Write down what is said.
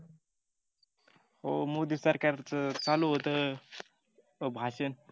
हो माेदी सरकारच चालु होत भाषण